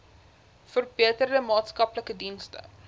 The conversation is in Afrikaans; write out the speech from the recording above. verbeterde maatskaplike dienste